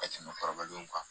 Ka tɛmɛ kɔrɔbalenw kan